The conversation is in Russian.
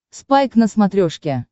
спайк на смотрешке